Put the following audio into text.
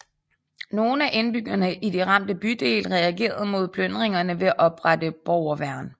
Nogen af indbyggerne i de ramte bydele reagerede mod plyndringerne ved at oprette borgerværn